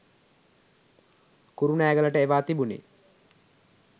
කුරුණෑගලට එවා තිබුණේ.